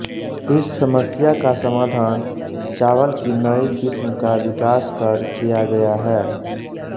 इस समस्या का समाधान चावल की नई किस्म का विकास कर किया गया है